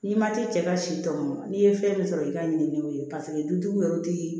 N'i ma taa cɛ ka si tɔmɔn n'i ye fɛn min sɔrɔ i ka ɲininkaliw ye paseke dutigiw yɛrɛ ti